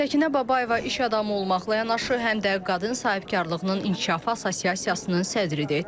Səkinə Babayeva iş adamı olmaqla yanaşı, həm də Qadın Sahibkarlığının İnkişafı Assosiasiyasının sədridir.